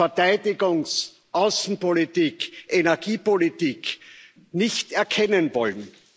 Verteidigungs Außenpolitik, Energiepolitik nicht erkennen wollen.